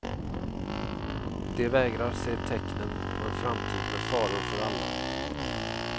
De vägrar se tecknen på en framtid med faror för alla.